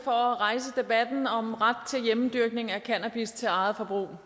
for at rejse debatten om ret til hjemmedyrkning af cannabis til eget forbrug